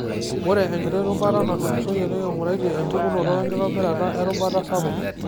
Ore enkiti rubata natulusoyie, niking'uraitie empukonoto wenkitobirata erubata sapuk.